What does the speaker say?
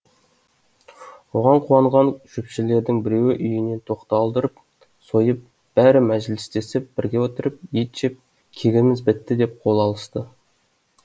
оған қуанған шөпшілердің біреуі үйінен тоқты алдырып сойып бәрі мәжілістесіп бірге отырып ет жеп кегіміз бітті деп қол алысты